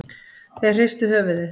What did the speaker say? Þeir hristu höfuðið.